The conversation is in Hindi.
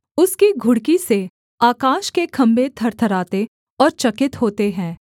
उसकी घुड़की से आकाश के खम्भे थरथराते और चकित होते हैं